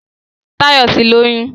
Táyọ̀ ti lóyún